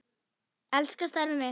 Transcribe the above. Ég elska starfið mitt.